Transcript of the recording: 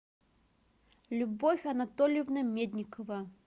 любовь анатольевна медникова